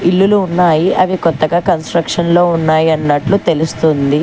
ఇల్లులు ఉన్నాయి అవి కొత్తగా కన్స్ట్రక్షన్ లో ఉన్నాయాన్నట్లు తెలుస్తుంది.